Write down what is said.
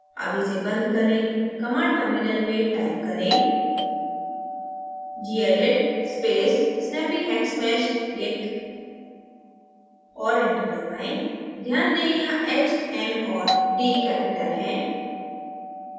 अब इसे बंद करें command terminal में type करें gedit space snappyhexmeshdict और enter दबाएँ ध्यान दें यहाँ h m और d capital हैं